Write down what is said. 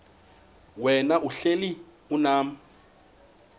wena uhlel unam